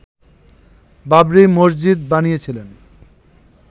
বাবরি মসজিদ বানিয়েছিলেন